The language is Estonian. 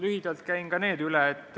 Lühidalt käin need üle.